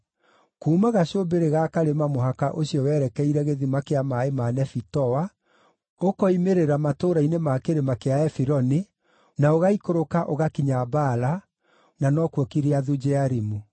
Kuuma gacũmbĩrĩ ga karĩma mũhaka ũcio werekeire gĩthima kĩa maaĩ ma Nefitoa, ũkiumĩrĩra matũũra-inĩ ma kĩrĩma kĩa Efironi, na ũgaikũrũka ũgakinya Baala (na nokuo Kiriathu-Jearimu).